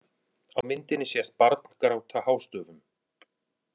Á myndinni sést barn gráta hástöfum.